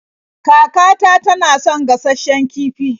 Kakata tana son gashasshen kifi.